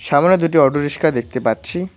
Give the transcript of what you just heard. সামোনে দুইটি অটো রিসকা দেখতে পাচ্ছি।